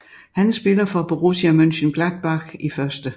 Han spiller for Borussia Mönchengladbach i 1